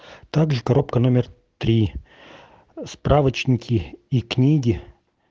также коробка номер три справочники и книги